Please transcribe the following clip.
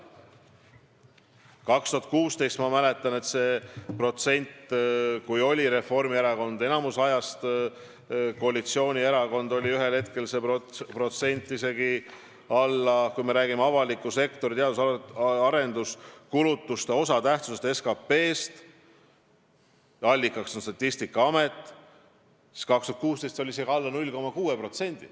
Aastal 2016, kui Reformierakond oli peaaegu aasta lõpuni koalitsioonis, ma mäletan, avaliku sektori teadus- ja arendustöö kulutuste osatähtsus SKP-s oli ühel hetkel isegi alla 0,6%.